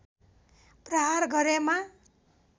प्रहार गरेमा